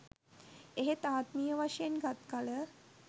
එහෙත් ආත්මීය වශයෙන් ගත් කළ